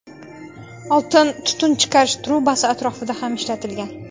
Oltin tutun chiqarish trubasi atrofida ham ishlatilgan.